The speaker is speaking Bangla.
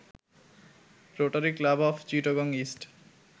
rotary Club of Chittagong east